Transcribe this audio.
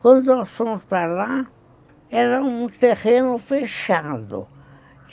Quando nós fomos para lá, era um terreno fechado.